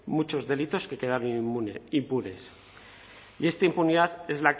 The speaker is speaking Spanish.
muchos delitos que quedan impunes y esta impunidad